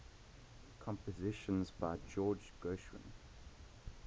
compositions by george gershwin